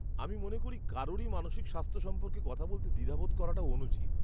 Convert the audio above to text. আমি মনে করি কারুরই মানসিক স্বাস্থ্য সম্পর্কে কথা বলতে দ্বিধা বোধ করাটা অনুচিত।